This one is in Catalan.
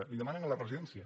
li ho demanen a la residència